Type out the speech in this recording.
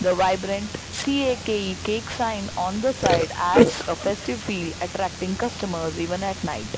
vibrant C_A_K_E cake sign on the side adds a festive feel attracting customers even at night.